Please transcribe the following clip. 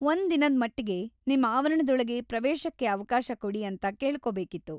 ಒಂದಿನದ್ ಮಟ್ಟಿಗೆ ನಿಮ್ ಆವರಣದೊಳಗೆ ಪ್ರವೇಶಕ್ಕೆ ಅವಕಾಶ ಕೊಡಿ ಅಂತ ಕೇಳ್ಕೊಬೇಕಿತ್ತು.